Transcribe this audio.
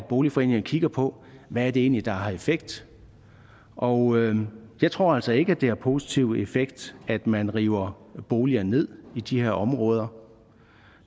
boligforeninger kigger på hvad det egentlig er der har effekt og jeg tror altså ikke at det har positiv effekt at man river boliger ned i de her områder